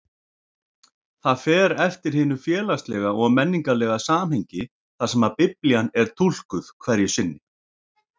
Það fer eftir hinu félagslega og menningarlega samhengi þar sem Biblían er túlkuð hverju sinni.